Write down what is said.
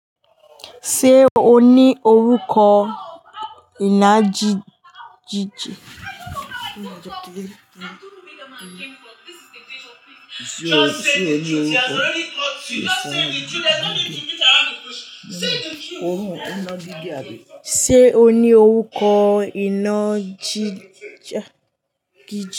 Ṣé o ní orúkọ iná jí- jìjì? Ṣé o ní orúkọ inágìje àbí? Ṣé o ní orúkọ inágije?